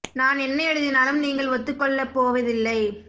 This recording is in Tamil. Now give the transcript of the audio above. நான் என்ன எழுதினாலும் நீங்கள் ஒத்துக்கொள்ளப்போவதில்லை